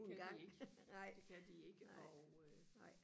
det kan de ikke det kan de ikke og øh